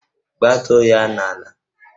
Gbatuo ya n'ala!